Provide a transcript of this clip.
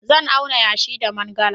Zan auna yashi da mangala.